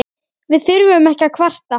Við þurfum ekki að kvarta.